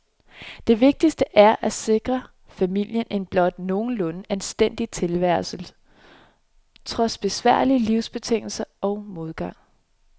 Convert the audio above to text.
Det vigtigste er, at sikre familien en blot nogenlunde anstændig tilværelse, trods besværlige livsbetingelser og modgang.